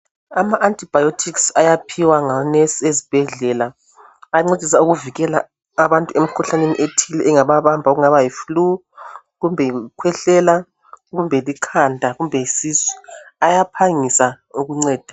Ama antibiotics ayaphiwa ngonurse ezibhedlela , ayancedisa ukuvikela abantu emkhuhlaneni ethile engababamba okungaba yiflue , kumbe yikukhwehlela kumbe likhanda kumbe yisisu ayaphangisa ukunceda